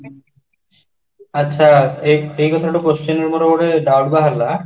ଆଛା ଏଇ କଥାରୁ doubt ବାହାରିଲା